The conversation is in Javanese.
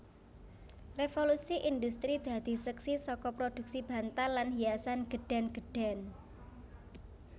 Revolusi Indhustri dadi seksi saka prodhuksi bantal lan hiasan gedhèn gedhèn